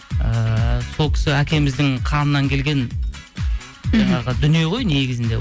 ыыы сол кісі әкеміздің қанынан келген мхм жаңағы дүние ғой негізінде